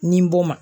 Nin bɔ ma